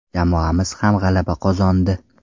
Jamoamiz ham g‘alaba qozondi.